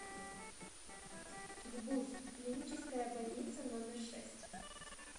гбуз клиническая больница номер шесть